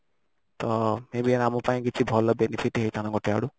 ତ may be ଆମ ପାଇଁ କିଛି ଭଲ benefit ହେଇଥାନ୍ତା ଗୋଟେ ଆଡୁ